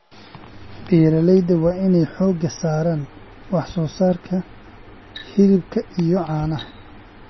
Beeralayda waa in ay xooga saaraan wax soo saarka hilibka iyo caanaha.